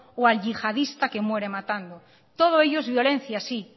o el yihadista que muere matando todo ello es violencia sí